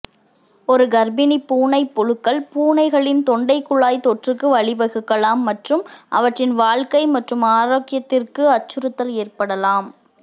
ஒரு கர்ப்பிணிப் பூனைப் புழுக்கள் பூனைகளின் தொண்டைக்குழாய் தொற்றுக்கு வழிவகுக்கலாம் மற்றும் அவற்றின் வாழ்க்கை மற்றும் ஆரோக்கியத்திற்கு அச்சுறுத்தல் ஏற்படலாம்